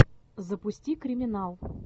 запусти криминал